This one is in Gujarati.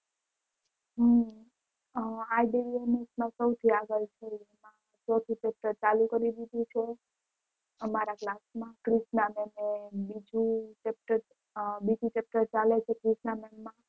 હમ